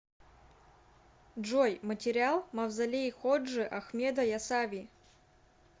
джой материал мавзолей ходжи ахмеда ясави